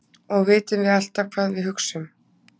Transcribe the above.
Og vitum við alltaf hvað við hugsum?